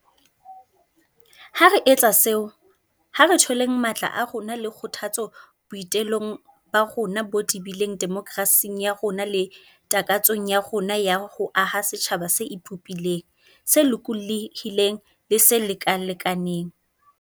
Ha re etsa seo, ha re tholeng matla a rona le kgothatso boi telong ba rona bo tebileng demokerasing ya rona le takatsong ya rona ya ho aha setjhaba se ipopileng, se lokolohileng le se lekalekanang.